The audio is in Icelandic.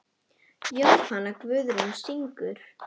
Jóhanna Guðrún syngur.